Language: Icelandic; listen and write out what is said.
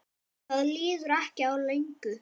Það líður ekki á löngu.